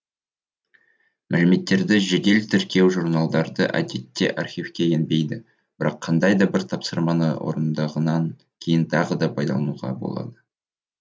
мәліметтерді жедел тіркеу журналдары әдетте архивке енбейді бірақ қандай да бір тапсырманы орындағаннан кейін тағы да пайдалануға болады